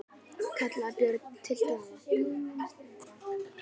kallaði Björn til Daða.